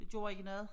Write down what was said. Det gjorde ikke noget